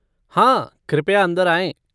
हाँ कृपया अंदर आएँ।